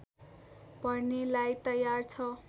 भर्नेलाई तयार छ